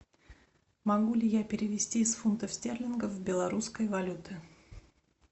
могу ли я перевести из фунтов стерлингов в белорусской валюты